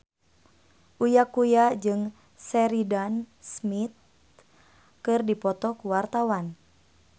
Uya Kuya jeung Sheridan Smith keur dipoto ku wartawan